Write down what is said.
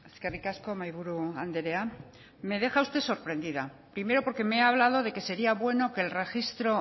eskerrik asko mahaiburu andrea me deja usted sorprendida primero porque me ha hablado de que sería bueno que el registro